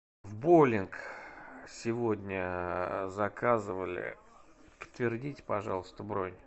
в боулинг сегодня заказывали подтвердите пожалуйста бронь